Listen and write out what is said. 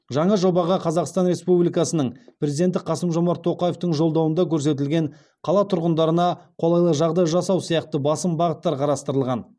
жаңа жобаға қазақстан республикасының президенті қасым жомарт тоқаевтың жолдауында көрсетілген қала тұрғындарына қолайлы жағдай жасау сияқты басым бағыттар қарастырылған